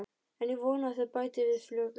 En ég vona að þau bæti við fljótlega.